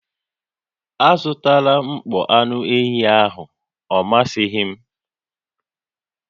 Azụtala mkpọ anụ ehi ahụ, ọ masịghị m!